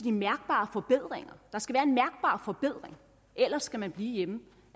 en mærkbar forbedring ellers skal ministre blive hjemme